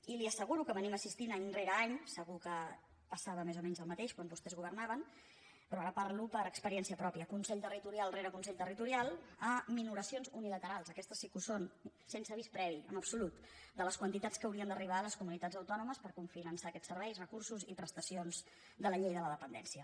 i li asseguro que assistim any rere any segur que passava més o menys el mateix quan vostès governaven però ara parlo per experiència pròpia consell territorial rere consell territorial a minoracions unilaterals aquestes sí que ho són sense avís previ en absolut de les quantitats que haurien d’arribar a les comunitats autònomes per cofinançar aquests serveis recursos i prestacions de la llei de la dependència